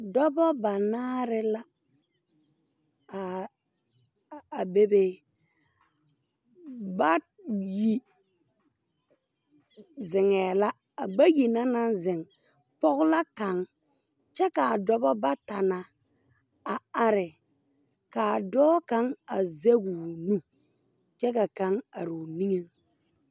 Dobɔ banaare la a bebe bayi zeŋɛɛ la a bayi na naŋ zeŋ pog la kaŋ kyɛ kaa dobɔ bata na a are kaa dɔɔ kaŋ a zege o nu kyɛ ka kaŋ areoo niŋeŋ.